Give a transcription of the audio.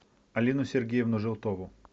алину сергеевну желтову